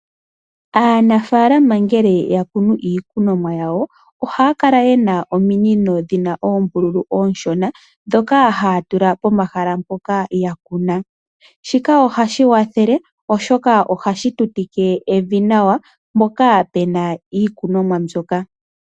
Aanafaalama ngele ya kunu iikunwamo yawo. Oha ya kala ye na ominino dhina oombululu oonshona, dhoka ha ya tula pomahala mpoka yakuna, shika oha shi wathele oshoka, oha shi tutike evi nawa mpoka pu na iikunwamo mbyoka.